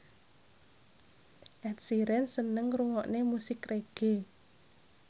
Ed Sheeran seneng ngrungokne musik reggae